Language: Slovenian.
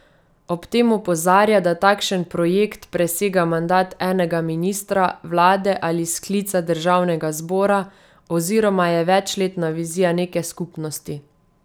Ob tem opozarja, da takšen projekt presega mandat enega ministra, vlade ali sklica državnega zbora oziroma je večletna vizija neke skupnosti.